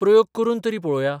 प्रयोग करून तरी पळोवया.